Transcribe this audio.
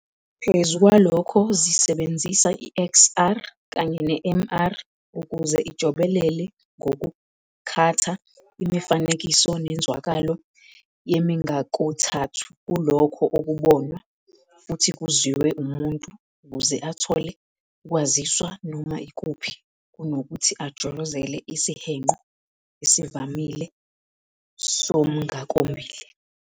Phezu kwalokho zisebenzisa iXR kanye neMR ukuze ijobelele ngokukhatha imifanekiso nenzwakalo yemingakothathu kulokho okubonwa futhi kuzwiwe umuntu ukuze athole ukwaziswa noma ikuphi kunokuthi ajolozele isihenqo esivamile somngakombili.